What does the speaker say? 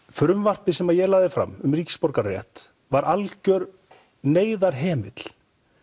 frumvarpið sem ég lagði fram um ríkisborgararétt var algjör neyðarhemill